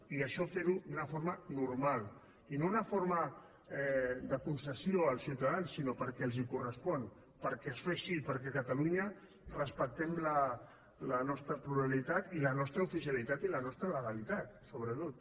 i això fer ho d’una forma normal i no d’una forma de concessió als ciutadans sinó perquè els correspon perquè es fa així perquè a catalunya respectem la nostra pluralitat i la nostra oficialitat i la nostra legalitat sobretot